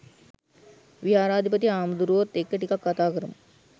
විහාරාධිපති හාමුදුරුවොත් එක්ක ටිකක් කතා කරමු.